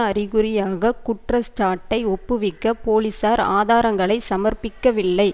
அறிகுறியாக குற்றச்சாட்டை ஒப்புவிக்க போலிசார் ஆதாரங்களை சமர்ப்பிக்கவில்லை